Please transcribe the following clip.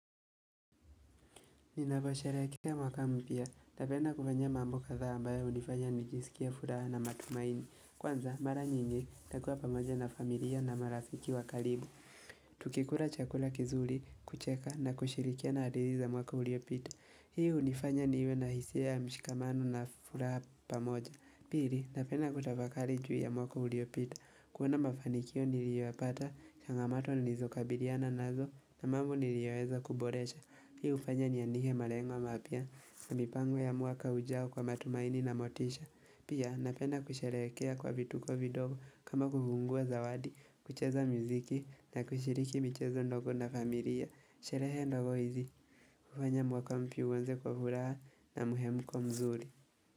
Ninaposherehekea mwaka mpia, napenda kufanyia mambo kadha ambayo unifanya nijisikie furaha na matumaini. Kwanza, mara nyingi, takua pamoja na familia na marafiki wakalibu. Tukikura chakula kizuli, kucheka na kushirikiana adili za mwaka uliopita. Hii unifanya niwe na hisia mshikamanu na furaha pamoja. Piri, tapena kutafakali juu ya mwaka uliopita. Kuona mafanikio niliyoyapata, changamato nizokabiliana nazo, na mambo niliyoweza kuboresha. Hii ufanya niandike malengwa mapia na mipango ya mwaka ujao kwa matumaini na motisha. Pia napenda kusheherekea kwa vituko vidogo, kama kufungua zawadi, kucheza mziki na kushiriki michezo ndogo na familia. Sherehe ndogo hizi. Ufanya mwaka mpya uanze kwa furaha, na muhemuko mzuri.